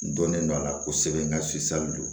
N dɔnnen don a la kosɛbɛ n ka don